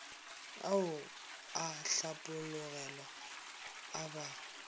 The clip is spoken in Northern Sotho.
ao a hlapologelwa a ba